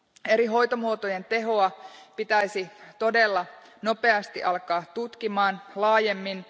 Eri hoitomuotojen tehoa pitäisi todella nopeasti alkaa tutkimaan laajemmin.